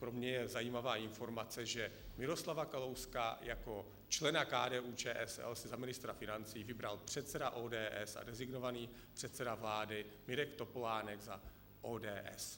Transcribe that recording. Pro mě je zajímavá informace, že Miroslava Kalouska jako člena KDU-ČSL si za ministra financí vybral předseda ODS a designovaný předseda vlády Mirek Topolánek za ODS.